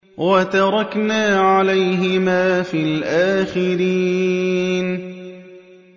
وَتَرَكْنَا عَلَيْهِمَا فِي الْآخِرِينَ